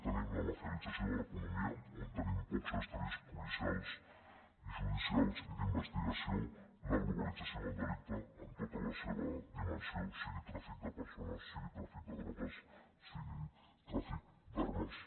tenim la mafialització de l’economia on tenim pocs estris policials judicials i d’investigació la globalització del delicte en tota la seva dimensió sigui tràfic de persones sigui tràfic de drogues sigui tràfic d’armes